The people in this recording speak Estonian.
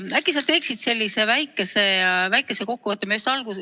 Äkki sa teeksid sellise väikese kokkuvõtte.